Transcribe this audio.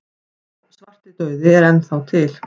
Já, svartidauði er enn þá til.